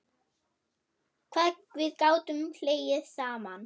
Hvað við gátum hlegið saman.